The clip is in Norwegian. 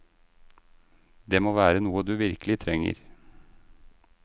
Det må være noe du virkelig trenger.